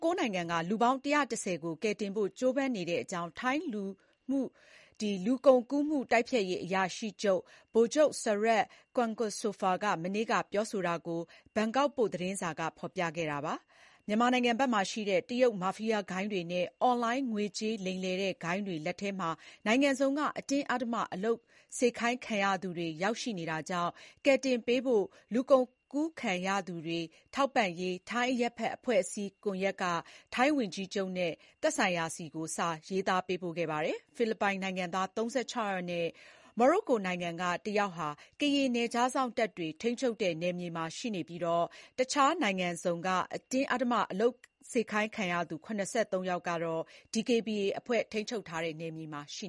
၉ နိုင်ငံက လူပေါင်း ၁၁၀ ကို ကယ်တင်ဖို့ ကြိုးပမ်းနေတဲ့အကြောင်း ထိုင်း လူကုန်ကူးမှုတိုက်ဖျက်ရေးအရာရှိ ဗိုလ်ချုပ် Sarut Kwaengsopha မနေ့က ပြောဆိုတာကို ဘန်ကောက်ပို့ သတင်းစာက ဖော်ပြခဲ့တာပါ။ မြန်မာနိုင်ငံဘက်မှာရှိတဲ့ တရုတ် မာဖီယားဂိုဏ်းတွေနဲ့ အွန်လိုင်း ငွေကြေးလိမ်လည်တဲ့ဂိုဏ်းတွေ လက်ထဲမှာ နိုင်ငံစုံက အတင်းအဓမ္မ အလုပ်ခိုင်းခံရသူတွေ ရောက်နေတာကြောင့် ကယ်တင်ပေးဖို့ လူကုန်ကူးခံရသူတွေ ထောက်ပံ့ရေး ထိုင်း အရပ်ဘက် အဖွဲ့အစည်း ကွန်ယက်က ထိုင်း ဝန်ကြီးချုပ် Paetongtarn Shinawatra နဲ့ သက်ဆိုင်ရာတွေဆီ စာရေးသားပေးပို့ခဲ့ပါတယ်။ ဖိလစ်ပိုင်နိုင်ငံသား ၃၆ ယောက်နဲ့ မိုရိုကိုနိုင်ငံက တယောက်ဟာ ကရင် နယ်ခြားစောင့်တပ်တွေ ထိန်းချုပ်တဲ့နယ်မြေမှာ ရှိနေပြီး တခြားနိုင်ငံစုံက အတင်းအဓမ္မအလုပ်ခိုင်းခံရသူ ၇၃ ယောက်ကတော့ DKBA အဖွဲ့ ထိန်းချုပ်တဲ့ နယ်မြေထဲမှာ ရှိ